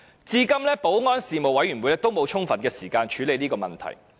至今保安事務委員會仍沒有充分的時間處理這問題。